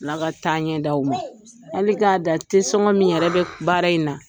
Ala ka taaɲɛ di aw ma hali k'a dan tesɔngɔ min yɛrɛ bɛ baara in na